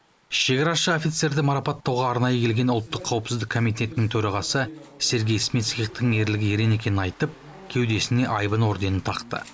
шекарашы офицерді марапаттауға аранайы келген ұлттық қауіпсіздік комитеттің төрағасы сергей смитскихтің ерлігі ерен екенін айтып кеудесіне айбын орденін тақты